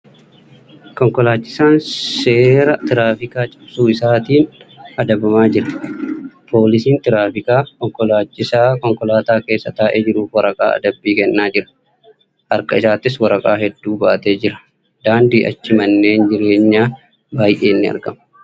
Konkolaachisaan seera tiraafikaa cabsuu isaatiin adabama nira. Poolisiin tiraafikaa konkolaachisaa konkolaataa keessa taa'ee jiruuf waraqaa adabbii kennaa jira. Harka isaattis waraqaa hedduu baatee jira. Daandii achi manneen jireenyaa baay'een ni aragamu.